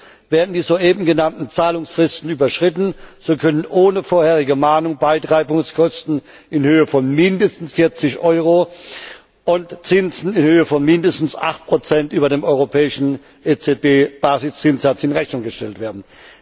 Drittens, werden die soeben genannten Zahlungsfristen überschritten, so können ohne vorherige Mahnung Beitreibungskosten in Höhe von mindestens 40 Euro und Zinsen in Höhe von mindestens 8 über dem europäischen EZB Basiszinssatz in Rechnung gestellt werden.